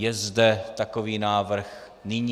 Je zde takový návrh nyní?